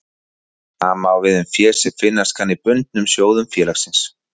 Sama á við um fé sem finnast kann í bundnum sjóðum félagsins.